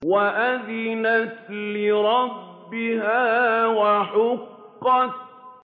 وَأَذِنَتْ لِرَبِّهَا وَحُقَّتْ